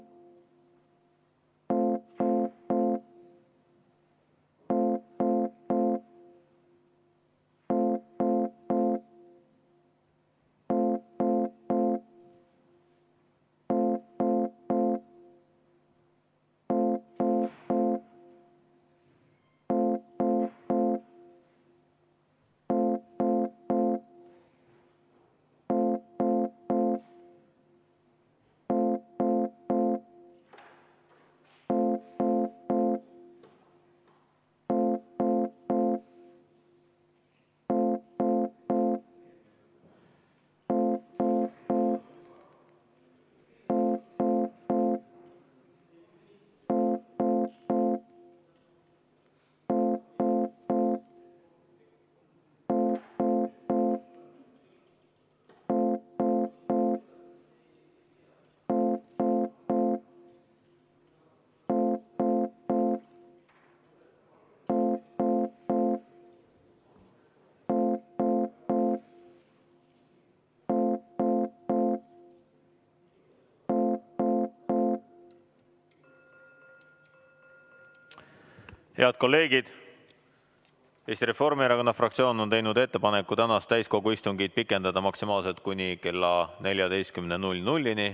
Head kolleegid, Eesti Reformierakonna fraktsioon on teinud ettepaneku tänast täiskogu istungit pikendada maksimaalselt kuni kella 14-ni.